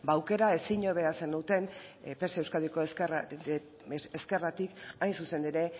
ba aukera ezin hobea zenuten pse euskadiko ezkerratik hain zuzen ere